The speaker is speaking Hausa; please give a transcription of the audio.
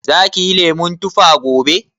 Za kiyi lemun tuffa gobe?